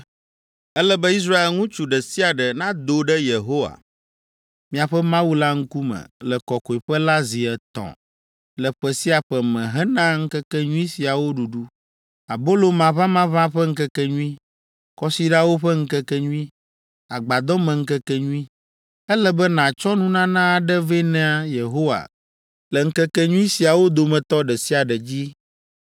Ele be Israel ŋutsu ɖe sia ɖe nado ɖe Yehowa, miaƒe Mawu la ŋkume, le kɔkɔeƒe la zi etɔ̃ le ƒe sia ƒe me hena ŋkekenyui siawo ɖuɖu: Abolo Maʋamaʋã ƒe Ŋkekenyui, Kɔsiɖawo ƒe Ŋkekenyui, Agbadɔmeŋkekenyui. Ele be nàtsɔ nunana aɖe vɛ na Yehowa le ŋkekenyui siawo dometɔ ɖe sia ɖe dzi.